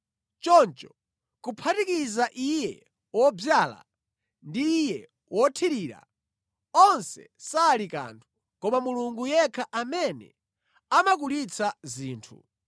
Choncho kuphatikiza iye wodzala ndi iye wothirira, onse sali kanthu, koma Mulungu yekha amene amakulitsa zinthu.